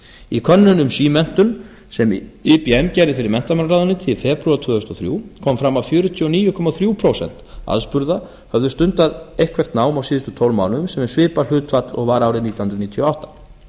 í könnun um símenntun sem ibm gerði fyrir án í febrúar tvö þúsund og þrjú kom fram að fjörutíu og níu komma þrjú prósent aðspurðra höfðu stundað eitthvert nám á síðustu tólf mánuðum sem er svipað hlutfall og var árið nítján hundruð níutíu og átta